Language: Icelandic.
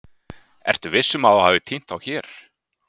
Ertu viss um að þú hafir týnt þá hér?